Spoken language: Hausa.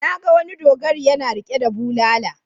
Na ga wani dogari yana riƙe da bulala.